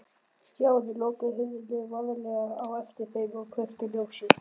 Stjáni lokaði hurðinni varlega á eftir þeim og kveikti ljósið.